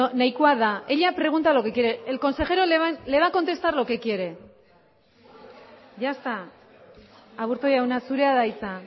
nahikoa da ella pregunta lo que quiere el consejero le va a contestar lo que quiere ya está aburto jauna zurea da hitza